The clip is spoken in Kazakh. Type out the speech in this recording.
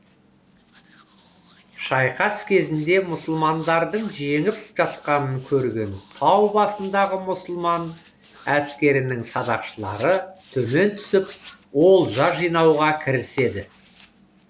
шайқас кезінде мұсылмандардың жеңіп жатқанын көрген тау басындағы мұсылман әскерінің садақшылары төмен түсіп олжа жинауға кіріседі